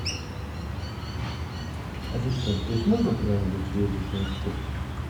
ассистент здесь можно куда нибудь съездить на экскурсию